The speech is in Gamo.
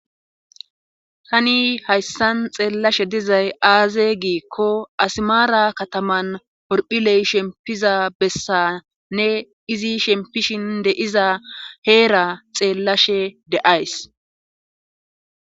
hani hayssan xeellashe dizay aaze giikko asmaara kataman horphiley shempiza bessanne izi shempishin de7iza heera xeellashe de7ays